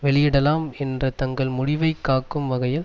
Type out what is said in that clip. வெளியிடலாம் என்ற தங்கள் முடிவைக் காக்கும் வகையில்